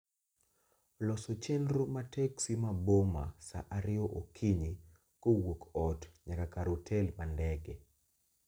loso chenro ma teksi ma boma saa ariyo okinyi kowuok ot nyaka kar otel ma ndege